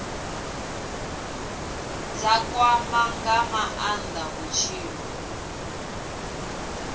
dza kwama nga maanda vhutshilo